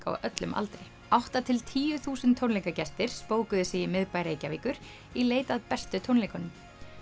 á öllum aldri átta til tíu þúsund tónleikagestir spókuðu sig miðbæ Reykjavíkur í leit að bestu tónleikunum